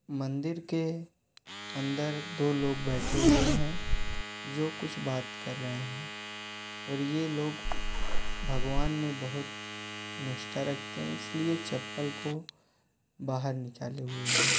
मंदिर के अन्दर दो लोग बैठे हुए हैं जो कुछ बात कर रहे है और ये लोग भगवान में बोहोत निष्ठा रखते हैं इसलिए चप्पल को बाहर निकले हुए हैं।